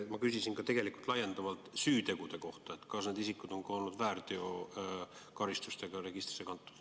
Ma küsisin tegelikult laiendavalt ka süütegude kohta, et kas need isikud on olnud ka väärteokaristustega registrisse kantud.